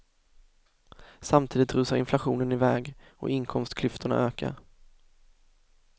Samtidigt rusar inflationen iväg och inkomstklyftorna ökar.